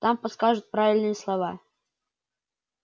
там подскажут правильные слова